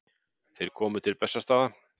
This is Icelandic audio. Þeir komu til Bessastaða.